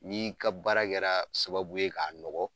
N'i ka baara kɛra sababu ye k'a nɔgɔ